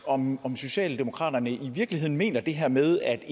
om om socialdemokratiet i virkeligheden mener det her med at